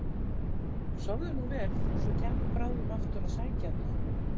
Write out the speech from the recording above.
Sofðu nú vel og svo kem ég bráðum aftur að sækja þig.